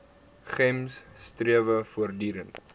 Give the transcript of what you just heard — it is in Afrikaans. gems strewe voortdurend